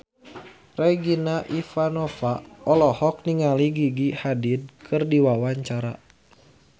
Regina Ivanova olohok ningali Gigi Hadid keur diwawancara